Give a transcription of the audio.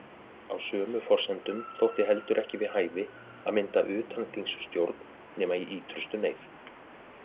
Á sömu forsendum þótti heldur ekki við hæfi að mynda utanþingsstjórn nema í ýtrustu neyð.